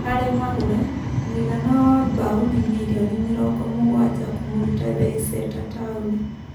Harĩ Magũre: Mũigana wa mbaũni mirioni mĩrongo mũgwaja kũmũruta Leiseta Taũni.